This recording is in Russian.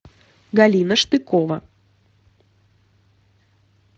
галина штыкова